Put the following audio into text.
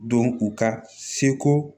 Don u ka seko